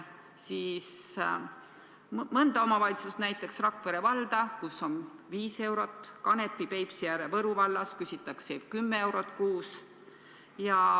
Näiteks Rakvere vallas on kohatasu 5 eurot, Kanepi, Peipsiääre ja Võru vallas küsitakse 10 eurot kuus.